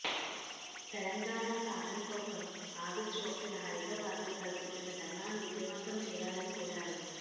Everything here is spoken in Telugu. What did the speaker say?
తెలంగాణ సాధన కోసం ఆగస్టు ఒకటిన హైదరాబాద్లో తలపెట్టిన ధర్నాను విజయవంతం చేయాలని కోరారు